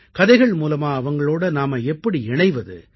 கதைகள் மூலமா அவங்களோட நாம எப்படி இணைவது